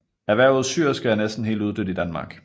Erhvervet syerske er næsten helt uddødt i Danmark